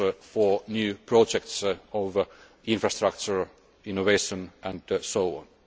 for new projects of infrastructure, innovation and so on.